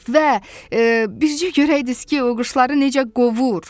Və bircə görəydiz ki, o quşları necə qovur.